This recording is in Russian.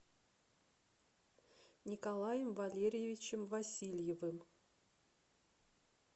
николаем валерьевичем васильевым